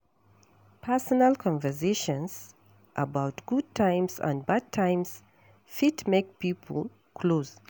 Personal conversations about good times and bad times fit make pipo close